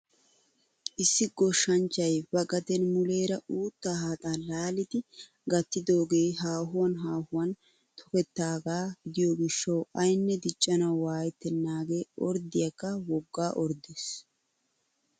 Issi goshshanchchay ba gaden muleera uuttaa haaxaa laalidi gattigidoogee haahuwaan haahuwan tokettaagaa gidiyoo gishshawu aynne diccanawu waayettenagee orddiyaakka woggaa orddees!